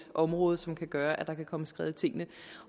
et område som kan gøre at der kan komme skred i tingene